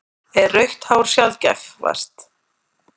Er rautt hár sjaldgæfast?